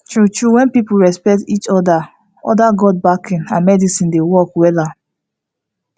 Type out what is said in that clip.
true true when people respect each other other god backing and medicine dey work wella